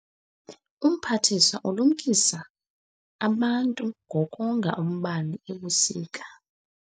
Umphathiswa ulumkise abantu ngokonga umbane ebusika.